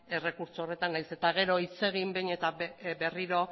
errekurtso honetan nahiz eta gero hitz egin behin eta berriro